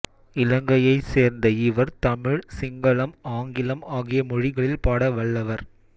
இலங்கையைச் சேர்ந்த இவர் தமிழ் சிங்களம் ஆங்கிலம் ஆகிய மொழிகளில் பாட வல்லவர்